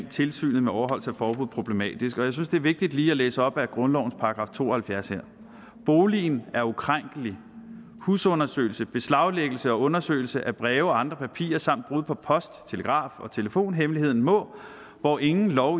tilsyn med overholdelse af forbuddet problematisk og jeg synes det er vigtigt lige at læse op af grundlovens § to og halvfjerds her boligen er ukrænkelig husundersøgelser beslaglæggelse og undersøgelse af breve og andre papirer samt brud på post telegraf og telefonhemmeligheden må hvor ingen lov